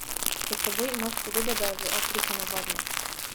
Pred seboj imaš podobe, da je v Afriki nevarno.